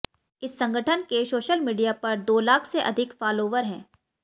इस संगठन के सोशल मीडिया पर दो लाख से अधिक फालोवर हैं